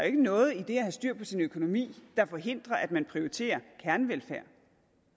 ikke noget i det at have styr på sin økonomi der forhindrer at man prioriterer kernevelfærd